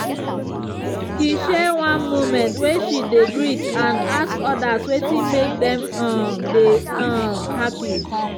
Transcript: he share one moment way she dey great and ask others wetin make dem um dey um happy